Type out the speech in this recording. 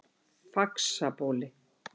Faxabóli